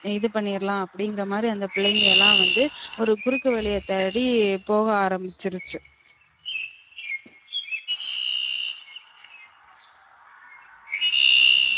இது பண்ணிறலாம் அப்டிங்றமாரி அந்த பிள்ளைங்க எல்லாம் வந்து ஒரு குறுக்கு வழிய தேடி போக ஆரமிச்சிருச்சு